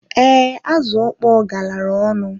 Ee, azụ okpọ galara ọnụ.